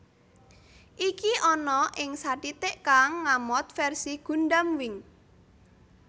Iki ana ing satitik kang ngamot versi Gundam Wing